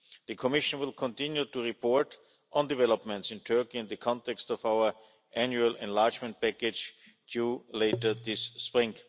The Commission will continue to report on developments in Turkey in the context of our annual enlargement package due later this spring.